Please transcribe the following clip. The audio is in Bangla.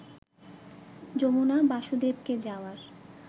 যমুনা বাসুদেবকে যাওয়ার